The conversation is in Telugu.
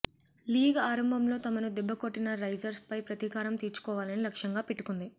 లీగ్ ఆరంభంలో తమను దెబ్బకొట్టిన రైజర్స్ పై ప్రతీకారం తీర్చుకోవాలని లక్ష్యంగా పెట్టుకుంది